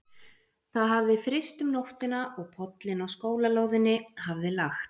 Það hafði fryst um nóttina og pollinn á skólalóðinni hafði lagt.